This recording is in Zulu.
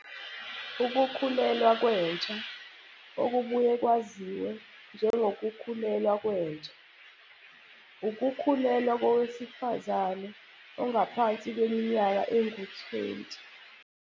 Ukukhulelwa kwentsha okubuye kwaziwe njengo kukhulelwa kwentsha, ukukhulelwa kowesifazane ongaphansi kweminyaka engu-20.